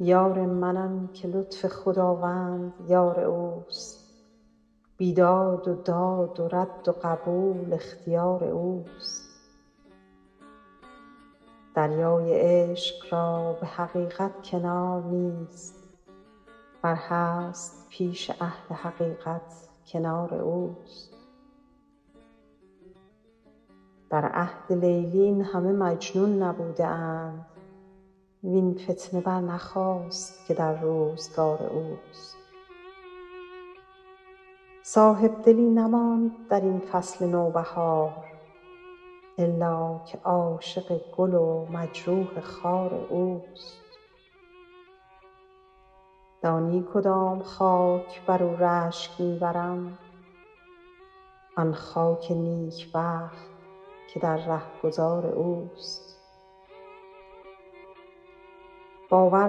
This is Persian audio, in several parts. یار من آن که لطف خداوند یار اوست بیداد و داد و رد و قبول اختیار اوست دریای عشق را به حقیقت کنار نیست ور هست پیش اهل حقیقت کنار اوست در عهد لیلی این همه مجنون نبوده اند وین فتنه برنخاست که در روزگار اوست صاحبدلی نماند در این فصل نوبهار الا که عاشق گل و مجروح خار اوست دانی کدام خاک بر او رشک می برم آن خاک نیکبخت که در رهگذار اوست باور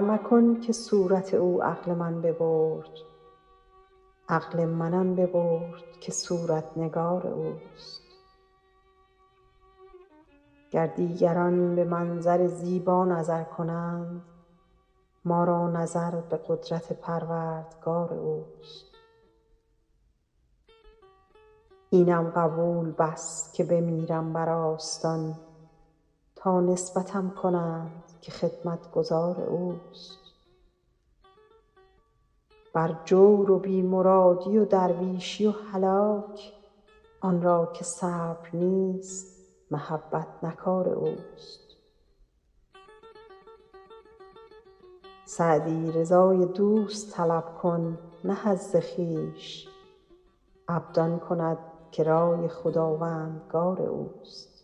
مکن که صورت او عقل من ببرد عقل من آن ببرد که صورت نگار اوست گر دیگران به منظر زیبا نظر کنند ما را نظر به قدرت پروردگار اوست اینم قبول بس که بمیرم بر آستان تا نسبتم کنند که خدمتگزار اوست بر جور و بی مرادی و درویشی و هلاک آن را که صبر نیست محبت نه کار اوست سعدی رضای دوست طلب کن نه حظ خویش عبد آن کند که رای خداوندگار اوست